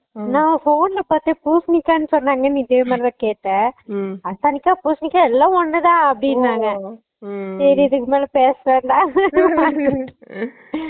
நா phone ல பாத்தான் பூசினிக்கா சொன்னாங்கன்னு இதே மாறிதா கேட்டான் உம் அரசாணிக்கா பூசினிக்கா எல்ல ஒன்னுதா அப்புடினாங்க சேரி இதுக்குமேல பேச வேண்டா